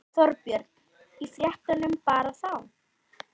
Þorbjörn: Í fréttunum bara þá?